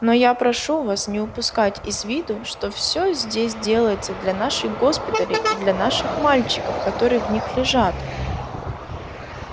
но я прошу вас не упускать из виду что все здесь делается для наших госпиталей и для наших мальчиков которые в них лежат